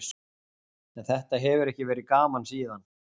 En þetta hefur ekki verið gaman síðan.